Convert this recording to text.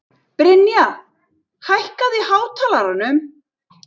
Brynja, hækkaðu í hátalaranum.